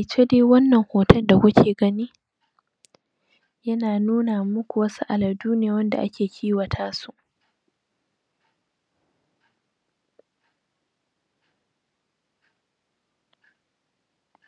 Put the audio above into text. iya, wannan hoton da kuke gani Yana nufin Nune ne akan wasu mutane da suka Sha anko Suna murna